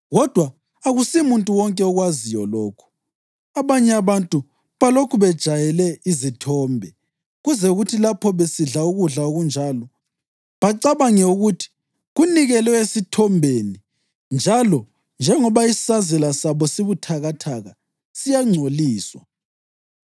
Kodwa akusimuntu wonke okwaziyo lokhu. Abanye abantu balokhu bejayele izithombe kuze kuthi lapho besidla ukudla okunjalo, bacabange ukuthi kunikelwe esithombeni njalo njengoba isazela sabo sibuthakathaka, siyangcoliswa.